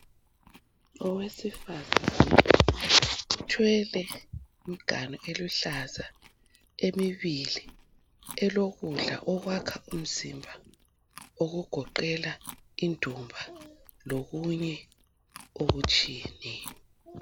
Owesifazana uthwele imiganu eluhlaza emibili elokudla okwakha imizimba okugoqela indumba lokunye okutshiyeneyo.